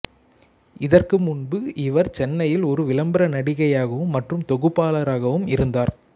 இதற்கு முன்பு இவர் சென்னையில் ஒரு விளம்பர நடிகையாகவும் மற்றும் தொகுப்பாளராக இருந்தார்